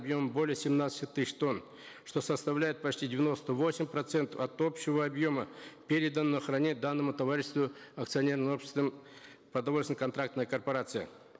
более семнадцати тысяч тонн что составляет почти девяносто восемь процент от общего объема переданного на хранение данному товариществу акционерным обществом продовольственно контрактная корпорация